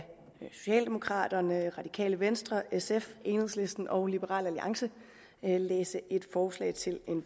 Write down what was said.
socialdemokraterne radikale venstre sf enhedslisten og liberal alliance læse et forslag til